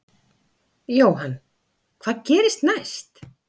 Jóhann: Hvað gerist næst?